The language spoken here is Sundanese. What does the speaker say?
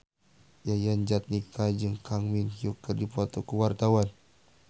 Yayan Jatnika jeung Kang Min Hyuk keur dipoto ku wartawan